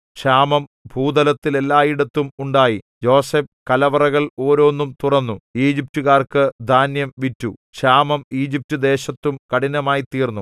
ക്ഷാമം ഭൂതലത്തിൽ എല്ലായിടത്തും ഉണ്ടായി യോസേഫ് കലവറകൾ ഓരോന്നും തുറന്നു ഈജിപ്റ്റുകാർക്കു ധാന്യം വിറ്റു ക്ഷാമം ഈജിപ്റ്റുദേശത്തും കഠിനമായ്തീർന്നു